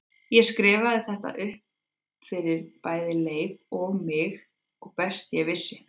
Ég skrifaði þetta upp fyrir bæði Leif og mig eins og best ég vissi.